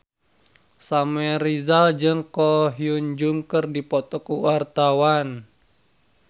Samuel Rizal jeung Ko Hyun Jung keur dipoto ku wartawan